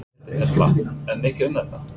Berghildur Erla: Er mikið um þetta?